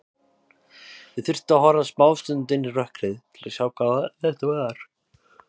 Ég þurfti að horfa smástund inn í rökkrið til að sjá hvað þetta var.